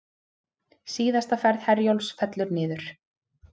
Síðasta ferð Herjólfs fellur niður